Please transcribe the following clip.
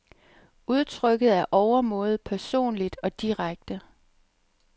Udtrykket er overmåde personligt og direkte.